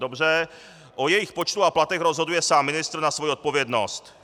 Dobře, o jejich počtu a platech rozhoduje sám ministr na svoji odpovědnost.